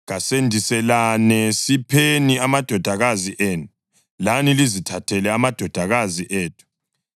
Kasendiselane; sipheni amadodakazi enu, lani lizithathele amadodakazi ethu.